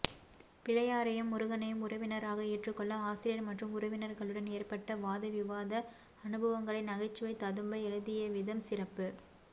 பிள்ளையாரையும் முருகனையும் உறவினராக ஏற்றுக்கொள்ள ஆசிரியர் மற்றும் உறவினர்களுடன் ஏற்பட்ட வாத விவாத அனுபவங்களை நகைச்சுவை ததும்ப எழுதியவிதம் சிறப்பு